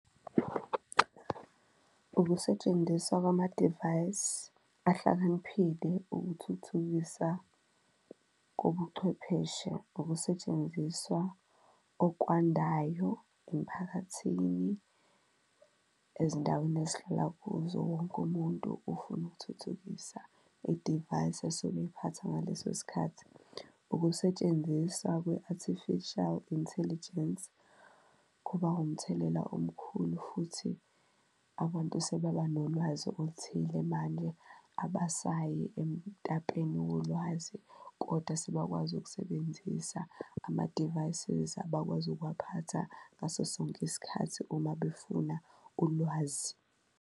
Ukusetshenziswa kwamadivayisi ahlakaniphile ukuthuthukisa ubuchwepheshe, ukusetshenziswa okwandayo emphakathini ezindaweni ezihlala kuzo, wonke umuntu ufuna ukuthuthukisa idivayisi esuke eyiphatha ngaleso sikhathi. Ukusetshenziswa kwe-artificial intelligence kuba umthelela omkhulu, futhi abantu futhi sebeba nolwazi oluthile manje abasayi emtapeni wolwazi kodwa sebakwazi ukusebenzisa ama-devices abakwazi ukuwaphatha ngaso sonke isikhathi, uma befuna ulwazi.